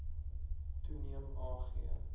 toeneem a g